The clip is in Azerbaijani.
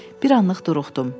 Bir anlıq duruxdum.